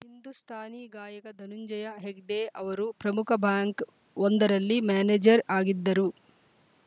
ಹಿಂದೂಸ್ಥಾನಿ ಗಾಯಕ ಧನುಂಜಯ ಹೆಗಡೆ ಅವರು ಪ್ರಮುಖ ಬ್ಯಾಂಕ್‌ ಒಂದರಲ್ಲಿ ಮ್ಯಾನೇಜರ್‌ ಆಗಿದ್ದರು